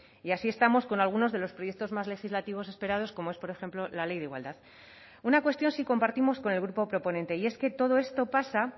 y así estamos con algunos de los proyectos más legislativos esperados como es por ejemplo la ley de igualdad una cuestión sí compartimos con el grupo proponente y es que todo esto pasa